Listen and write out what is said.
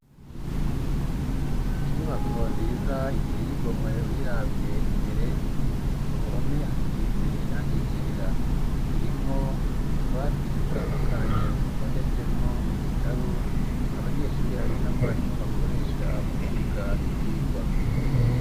Inyubako nziza iteye igomwe uyiravye imbere ku ruhome hasize iranga ijera irimwo utubatie dutandukanye dutondetsemwo ibitabo abanyeshuri hamwe n'amwarimo bakoresha mu kwiga ivyigwa.